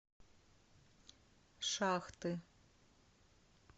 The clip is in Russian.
шахты